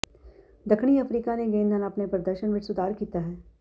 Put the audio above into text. ਦੱਖਣੀ ਅਫਰੀਕਾ ਨੇ ਗੇਂਦ ਨਾਲ ਆਪਣੇ ਪ੍ਰਦਰਸ਼ਨ ਵਿਚ ਸੁਧਾਰ ਕੀਤਾ ਹੈ